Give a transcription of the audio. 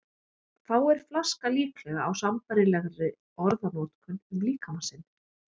Fáir flaska líklega á sambærilegri orðanotkun um líkama sinn.